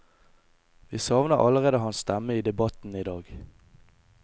Vi savner allerede hans stemme i debatten i dag.